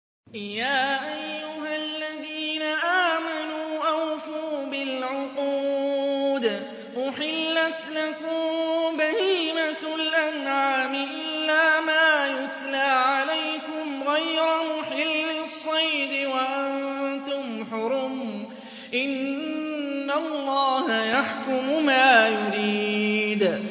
يَا أَيُّهَا الَّذِينَ آمَنُوا أَوْفُوا بِالْعُقُودِ ۚ أُحِلَّتْ لَكُم بَهِيمَةُ الْأَنْعَامِ إِلَّا مَا يُتْلَىٰ عَلَيْكُمْ غَيْرَ مُحِلِّي الصَّيْدِ وَأَنتُمْ حُرُمٌ ۗ إِنَّ اللَّهَ يَحْكُمُ مَا يُرِيدُ